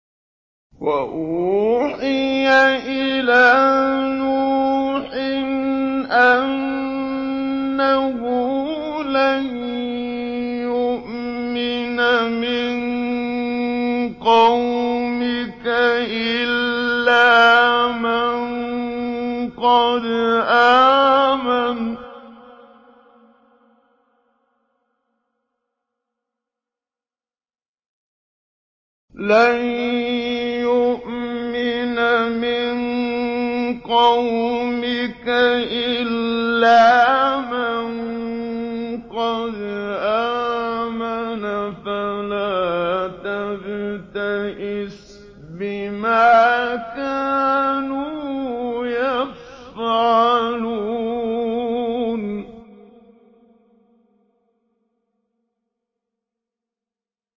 وَأُوحِيَ إِلَىٰ نُوحٍ أَنَّهُ لَن يُؤْمِنَ مِن قَوْمِكَ إِلَّا مَن قَدْ آمَنَ فَلَا تَبْتَئِسْ بِمَا كَانُوا يَفْعَلُونَ